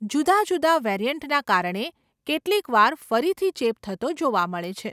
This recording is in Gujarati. જુદા જુદા વેરિયન્ટના કારણે કેટલીકવાર ફરીથી ચેપ થતો જોવા મળે છે.